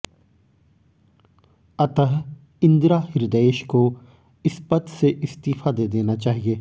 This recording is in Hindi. अतः इंदिरा हृदयेश को इस पद से इस्तीफा दे देना चाहिए